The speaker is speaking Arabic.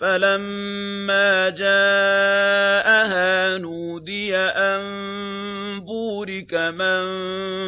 فَلَمَّا جَاءَهَا نُودِيَ أَن بُورِكَ مَن